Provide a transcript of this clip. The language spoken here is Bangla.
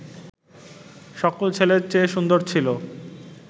সকল ছেলের চেয়ে সুন্দর ছিল